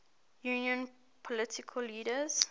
union political leaders